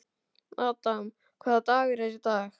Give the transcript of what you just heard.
Adam, hvaða dagur er í dag?